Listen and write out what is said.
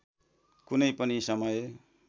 कुनै पनि समय